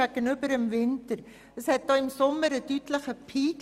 Verglichen mit dem Winter gibt es im Sommer einen deutlichen Peak.